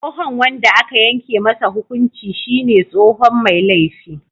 Tsohon wanda aka yanke masa hukunci shine tsohon Mai laifi.